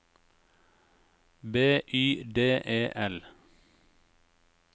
B Y D E L